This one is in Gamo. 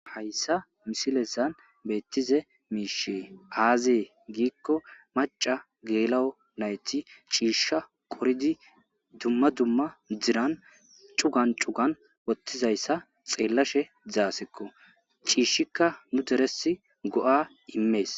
hayssa misilezan beettize miishe aazee giikko maca geela7o nayti ciishsha qoridi dumma dumma diran cugan cugan wottizayssa xeellashe dizaasekko ciishshikka nu deresi go7a immees.